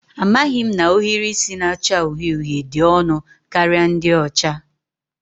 Amaghị m na ohiri isi na-acha uhie uhie dị ọnụ karịa ndị ọcha